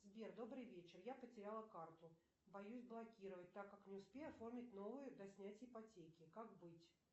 сбер добрый вечер я потеряла карту боюсь блокировать так как не успею оформить новую до снятия ипотеки как быть